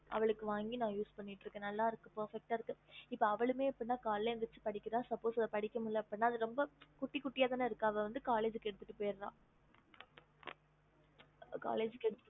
அவளுக்கு வாங்கி ந use பன்னிட்டு இருக்க நல்ல இருக்கு ferpeck இருக்குஅவளுக்கு எப்படின்னு கலையால எழுத்துச்சி படிக்கிற அப்டி இல்லே ந அவ collge கொண்டு போற குட்டி குட்டிதான இருக்கு ok okay mam